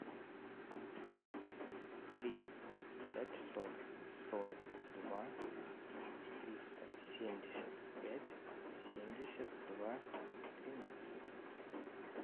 три пятьсот сорок два триста семьдесят пять семьдесят два тринадцать